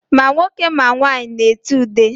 Ma nwoke ma nwaanyị na-ete ude.